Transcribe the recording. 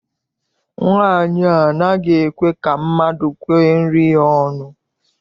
Nwaanyi a anaghị ekwe ka mmadụ kwee nri ya ọnụ.